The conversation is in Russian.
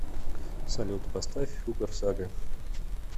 салют поставь хугар сага